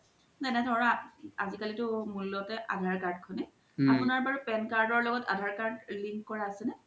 আজিকালিতো মুল্য তে আধাৰ card খনই আপুনাৰ বাৰু pan card ৰ ল্গ্ত আধাৰ card link কৰা আছে নে?